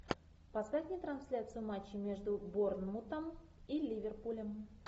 поставь мне трансляцию матча между борнмутом и ливерпулем